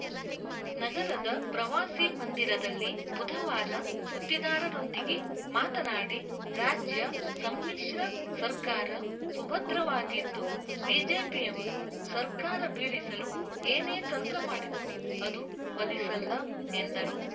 ನಗರದ ಪ್ರವಾಸಿ ಮಂದಿರದಲ್ಲಿ ಬುಧವಾರ ಸುದ್ದಿಗಾರರೊಂದಿಗೆ ಮಾತನಾಡಿ ರಾಜ್ಯ ಸಮ್ಮಿಶ್ರ ಸರ್ಕಾರ ಸುಭದ್ರವಾಗಿದ್ದು ಬಿಜೆಪಿಯವರು ಸರ್ಕಾರ ಬೀಳಿಸಲು ಏನೇ ತಂತ್ರ ಮಾಡಿದರೂ ಅದು ಫಲಿಸಲ್ಲ ಎಂದರು